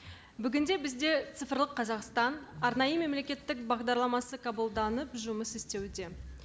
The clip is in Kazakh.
бүгінде бізде цифрлық қазақстан арнайы мемлекеттік бағдарламасы қабылданып жұмыс істеуде